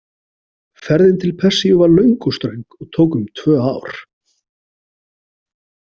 Ferðin til Persíu var löng og ströng og tók um tvö ár.